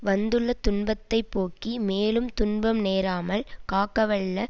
வந்துள்ள துன்பத்தை போக்கி மேலும் துன்பம் நேராமல் காக்கவல்ல